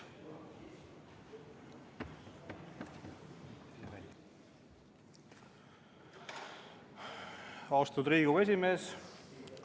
Austatud Riigikogu esimees!